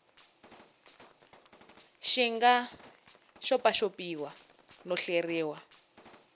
xi nga xopaxopiwa no hleriwa